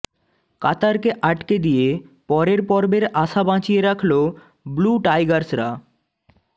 কাতারকে আকটে দিয়ে পরের পর্বের আশা বাঁচিয়ে রাখল ব্লু টাইগার্সরা